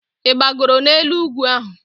Ị gbagoro n'elu ugwu ahụ?